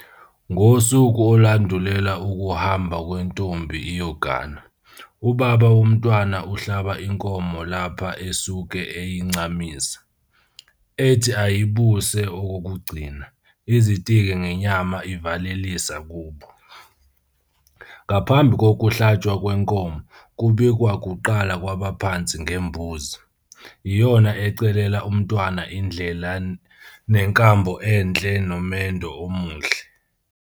Ngosuku olandulela ukuhamba kwentombi iyogana, ubaba womntwana uhlaba inkomo lapha esuke eyincamisa, ethi ayibuse okokugcina, izitike ngenyama ivalelisa kubo. Ngaphambi kokuhlatshwa kwenkomo, kubikwa kuqala kwabaphansi ngembuzi, iyona ecelela umntwana indlela nenkambo enhle nomendo omuhle.